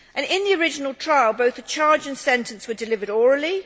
In the original trial both the charge and sentence were delivered orally.